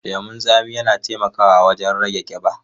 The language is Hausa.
Lemun tsami na taimakawa wajen rage kiba.